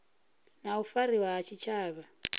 na u fariwa ha tshitshavha